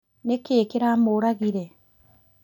Nĩ kĩĩ kĩramũragire?